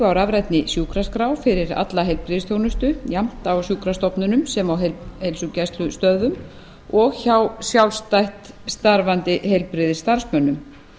á rafrænni sjúkraskrá fyrir alla heilbrigðisþjónustu jafnt á sjúkrastofnunum sem á heilsugæslustöðvum og hjá sjálfstætt starfandi heilbrigðisstarfsmönnum